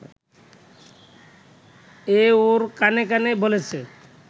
এ ওর কানে কানে বলেছে